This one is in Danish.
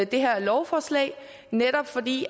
det her lovforslag netop fordi